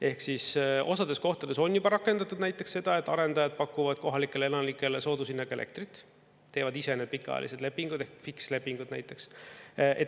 Ehk siis osades kohtades on juba rakendatud näiteks seda, et arendajad pakuvad kohalikele elanikele soodushinnaga elektrit, teevad ise need pikaajalised lepingud ehk fikslepingud näiteks.